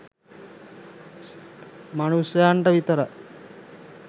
මනුෂ්‍යයන්ට විතරයි.